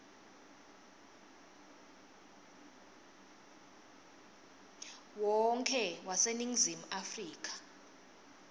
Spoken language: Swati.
wonkhe waseningizimu afrika